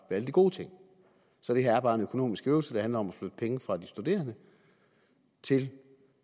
alle de gode ting så det her er bare en økonomisk øvelse der handler om at flytte penge fra de studerende til